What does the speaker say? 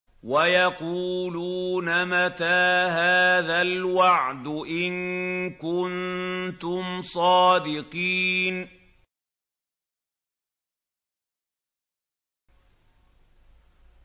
وَيَقُولُونَ مَتَىٰ هَٰذَا الْوَعْدُ إِن كُنتُمْ صَادِقِينَ